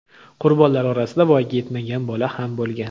Qurbonlar orasida voyaga yetmagan bola ham bo‘lgan.